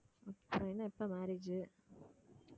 அப்புறம் என்ன எப்ப marriage